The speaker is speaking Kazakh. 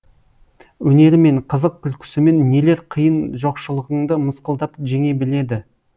өнерімен қызық күлкісімен нелер қиын жоқшылығыңды мысқылдап жеңе біледі